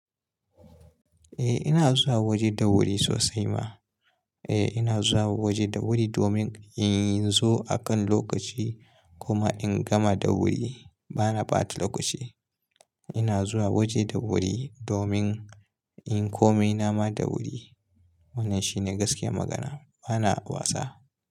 Eh ina zuwa waje da wuri sosai ma. Eh, ina zuwa waje da wuri domin in zo akan lokaci, kuma in gama da wuri, bana ɓata lokaci. Ina zuwa waje da wuri, domin inyi komai nama da wuri. Wannan shi ne gaskiyar magana, bana wasa.